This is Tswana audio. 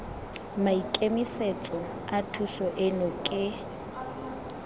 maikemisetso a thuso eno ke